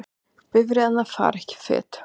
Bifreiðarnar fara ekki fet